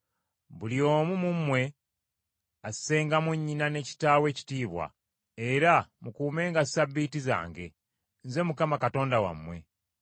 “Buli omu mu mmwe assengamu nnyina ne kitaawe ekitiibwa; era mukuumenga Ssabbiiti zange. Nze Mukama Katonda wammwe.